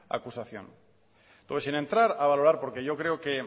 acusación luego sin entrar a valorar porque yo creo que